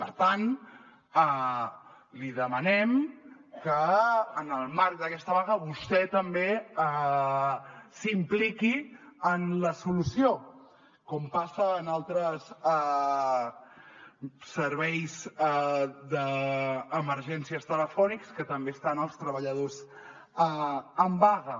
per tant li demanem que en el marc d’aquesta vaga vostè també s’impliqui en la solució com passa en altres serveis d’emergències telefònics que també estan els treballadors en vaga